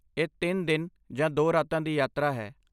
ਇਹ ਤਿੰਨ ਦਿਨ ਜਾਂ ਦੋ ਰਾਤਾਂ ਦੀ ਯਾਤਰਾ ਹੈ